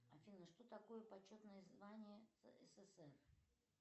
афина что такое почетное звание ссср